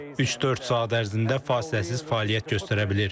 Üç-dörd saat ərzində fasiləsiz fəaliyyət göstərə bilir.